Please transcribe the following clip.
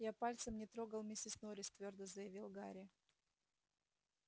я пальцем не трогал миссис норрис твёрдо заявил гарри